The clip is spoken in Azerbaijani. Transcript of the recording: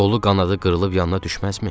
Qolu qanadı qırılıb yanına düşməzmi?